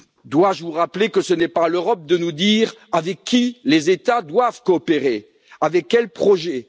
Dois je vous rappeler que ce n'est pas à l'Europe de nous dire avec qui les États doivent coopérer, avec quels projets?